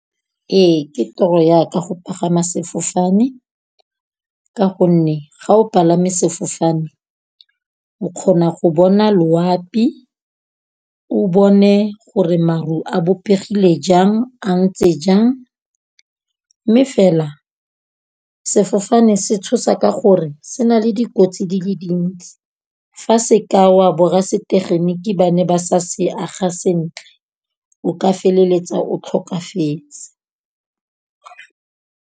Ee ke toro ya ka go pagama sefofane ka gonne, ga o palame sefofane o kgona go bona loapi, o bone gore maru a bopegile jang a ntse jang, mme fela sefofane se tshosa ka gore se na le dikotsi di le dintsi. Fa se ka wa borasetegeniki ba ne ba sa se aga sentle, o ka feleletsa o tlhokafetse.